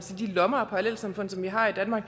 lommer af parallelsamfund som vi har i danmark